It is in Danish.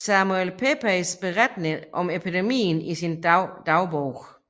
Samuel Pepys berettede om epidemien i sin dagbog